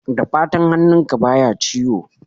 Da fatan hannunka baya ciwo?